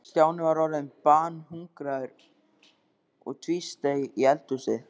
Stjáni var orðinn banhungraður og tvísteig í eldhúsinu.